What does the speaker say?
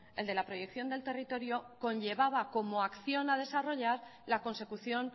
el de la proyección del territorio conllevaba como acción a desarrollar la consecución